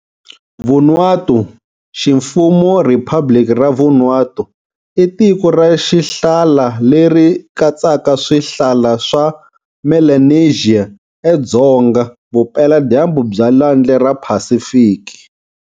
Vanuatu, ximfumo Riphabliki ra Vanuatu, i tiko ra xihlala leri katsaka swihlala swa Melanesia edzonga-vupela-dyambu bya Lwandle ra Pacific.